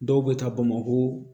Dɔw bɛ taa bamako